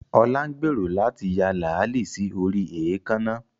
Olá ń gbèrò láti ya làálí sí orí èékánná